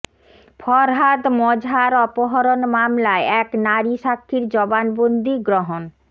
ফরহাদ মজহার অপহরণ মামলায় এক নারী সাক্ষীর জবানবন্দি গ্রহণ